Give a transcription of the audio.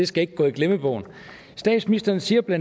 skal gå i glemmebogen statsministerens siger bla